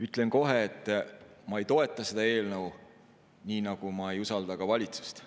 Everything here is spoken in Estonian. Ütlen kohe, et ma ei toeta seda eelnõu, nii nagu ma ei usalda ka valitsust.